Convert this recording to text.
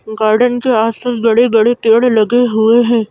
Garden के आसपास बड़े-बड़े पेड़ लगे हुए हैं।